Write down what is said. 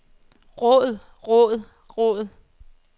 råd råd råd